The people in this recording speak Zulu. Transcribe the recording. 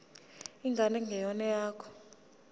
ingane engeyona eyakho